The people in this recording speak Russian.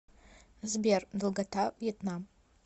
сбер долгота вьетнам